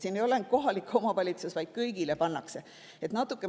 Siin ei ole ainult kohalik omavalitsus, vaid kõigile pannakse.